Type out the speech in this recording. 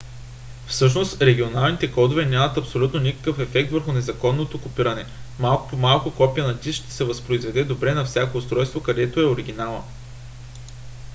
всъщност регионалните кодове нямат абсолютно никакъв ефект върху незаконното копиране; малко по малко копие на диск ще се възпроизведе добре на всяко устройство където е оригинална